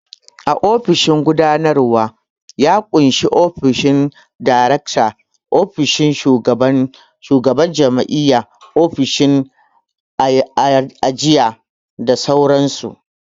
Ofishin gudanarwa ya ƙunshi ofishin direkta, ofishin shugaban jami'a, ofishin ajiya da sauran su